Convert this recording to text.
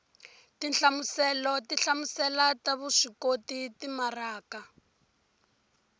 tinhlamuselo tinhlamuselo ta vuswikoti timaraka